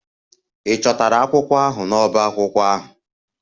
Ị chọtara akwụkwọ ahụ n'ọbá akwụkwọ ahụ?